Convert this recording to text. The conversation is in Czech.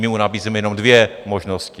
My mu nabízíme jenom dvě možnosti.